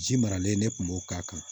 Ji maralen ne kun b'o k'a kan